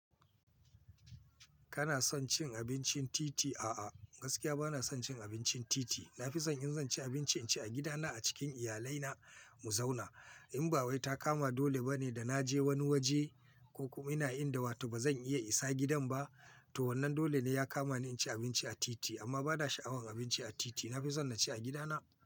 Kana son cin abincin titi? A'a, gaskiya bana son cin abincin titi. Nafison in zan ci abinci, in ci a gidana a cikin iyalaina mu zauna. In ba wai ta kama dole bane da na je wani waje ko kuma ina inda wato bazan iya isa gidan ba, to wannan dole ne ya kama ni in ci abinci a titi. Amma bana sha'awan abinci a titi. Nafison na ci a gidana.